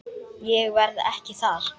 Ég verð ekki þar.